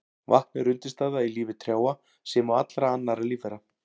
Vatn er undirstaða í lífi trjáa sem og allra annarra lífvera.